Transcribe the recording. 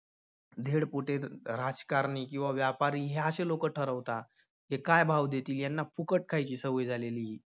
धेडपोटे अह राजकारणी किंवा व्यापारी हे अशे लोकं ठरवता. हे काय भाव देतील? ह्यांना फुकट खायची सवय झालेली आहे.